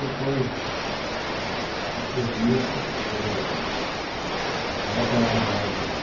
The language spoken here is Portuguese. Depois, depois disso, eu aí eu apanhava o ônibus,